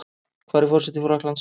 Hver er forseti Frakklands?